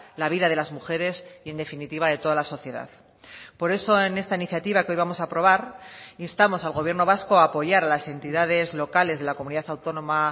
la vida de las mujeres y en definitiva de toda la sociedad por eso en esta iniciativa que hoy vamos a aprobar instamos al gobierno vasco a apoyar las entidades locales de la comunidad autónoma